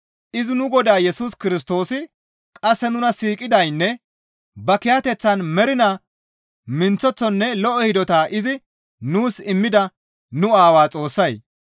Izi nu Godaa Yesus Kirstoosi qasse nuna siiqidaynne ba kiyateththan mernaa minththeththonne lo7o hidota izi nuus immida nu Aawaa Xoossay,